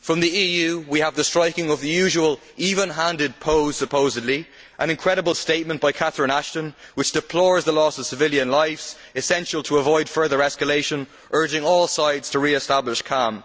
From the EU we had the striking of the usual even handed pose an incredible statement by Catherine Ashton deploring the loss of civilian lives essential to avoid further escalation and urging all sides to re establish calm